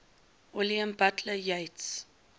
william butler yeats